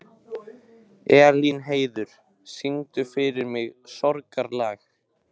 Elínheiður, syngdu fyrir mig „Sorgarlag“.